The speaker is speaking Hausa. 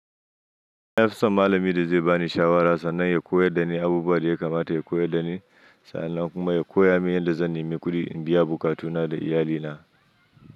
Nafison malami da zai bani shawara sannan ya koyar da ni abubuwa da yakamata ya koyar da ni sannan kuma ya koya min yadda zan nemi ƙudi in biya buƙatuna da iyalina.